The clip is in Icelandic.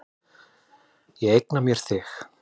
Ég eigna mér þig.